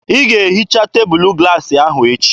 Ị ga-ehicha tebụlụ glaasị ahụ echi!